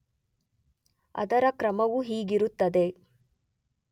ಅದರ ಕ್ರಮವು ಹೀಗಿರುತ್ತದೆ